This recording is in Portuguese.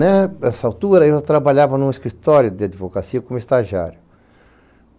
Nessa altura eu trabalhava em um escritório de advocacia como estagiário.